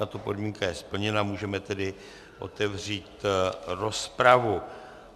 Tato podmínka je splněna, můžeme tedy otevřít rozpravu.